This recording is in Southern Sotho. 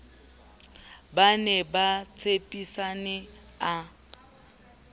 ba ne ba tshepisane a